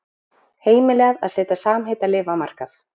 Heimilað að setja samheitalyf á markað